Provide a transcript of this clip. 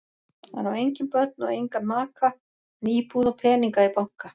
Hann á engin börn og engan maka en íbúð og peninga í banka.